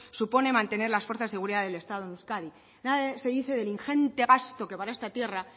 supone mantener las fuerzas de seguridad en euskadi nada se dice del ingente gasto para esta tierra